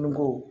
N ko